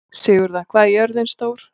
Sigurða, hvað er jörðin stór?